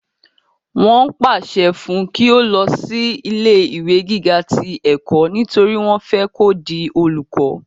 wọ́n pàṣẹ fún un kí ó lọ sí ilé ìwé gíga ti ẹ̀kọ́ nítorí wọ́n fẹ́ kó di olùkọ́